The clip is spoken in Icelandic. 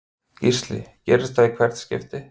Gísli: Gerist það í hvert skipti?